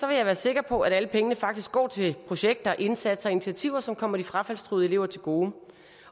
jeg være sikker på at alle pengene faktisk går til projekter indsatser og initiativer som kommer de frafaldstruede elever til gode